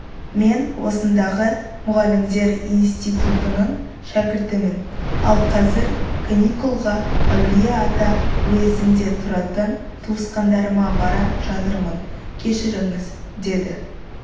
мен осындағы мұғалімдер институтының шәкіртімін ал қазір каникулға әулие-ата уезінде тұратын туысқандарыма бара жатырмын кешіріңіз деді